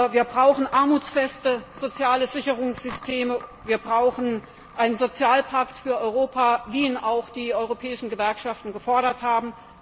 Wir brauchen armutsfeste soziale Sicherungssysteme, wir brauchen einen Sozialpakt für Europa, wie ihn auch die europäischen Gewerkschaften gefordert haben.